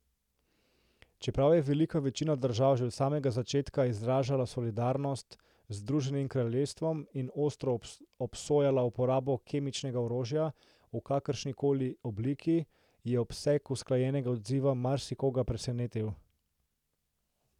Čeprav je velika večina držav že od samega začetka izražala solidarnost z Združenim kraljestvom in ostro obsojala uporabo kemičnega orožja v kakršni koli obliki, je obseg usklajenega odziva marsikoga presenetil.